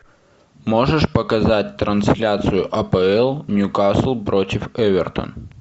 можешь показать трансляцию апл ньюкасл против эвертон